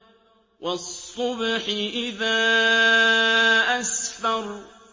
وَالصُّبْحِ إِذَا أَسْفَرَ